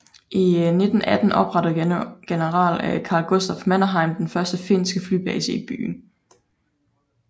I 1918 oprettede generel Carl Gustaf Mannerheim den første finske flybase i byen